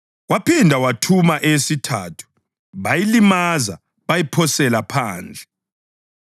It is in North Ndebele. Waphinda wathuma eyesithathu, bayilimaza bayiphosela phandle.